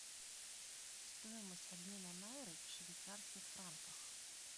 стоимость обмена найры в швейцарских франках